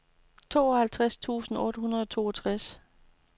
tooghalvtreds tusind otte hundrede og toogtres